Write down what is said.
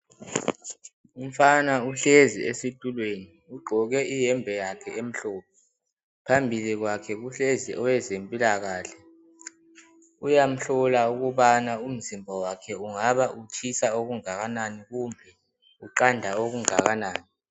Umfana uhlezi esitulweni ugqoke iyembe yakhe emhlophe phambi kwakhe kuhlezi owezempilakahle uyamhlola ukubana umzimba wakhe ungabe utshisa okunganani kumbe uqanda okungakanani.